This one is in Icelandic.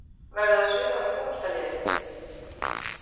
Verður það svipað með fótboltaliðið?